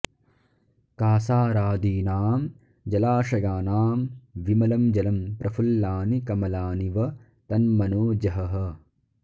कासारादीनां जलाशयानां विमलं जलं प्रफुल्लानि कमलानि व तन्मनो जहः